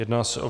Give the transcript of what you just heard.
Jedná se o